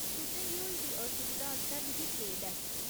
तुसें गी होई दी असुविधा आस्तै मिगी खेद ऐ।